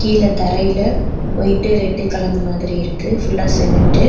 கீழ தரையில white red கலந்த மாதிரி இருக்கு ஃபுல்லா சிமெண்ட்டு .